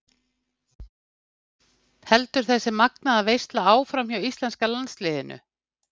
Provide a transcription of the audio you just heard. Heldur þessi magnaða veisla áfram hjá íslenska landsliðinu?